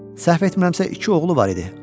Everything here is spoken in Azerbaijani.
Səhv etmirəmsə iki oğlu var idi.